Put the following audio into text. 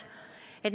Kena.